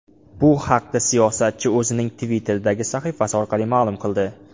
Bu haqda siyosatchi o‘zining Twitter’dagi sahifasi orqali ma’lum qildi .